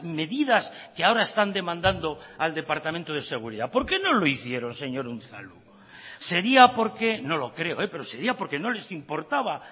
medidas que ahora están demandando al departamento de seguridad por qué no lo hicieron señor unzalu sería porque no lo creo pero sería porque no les importaba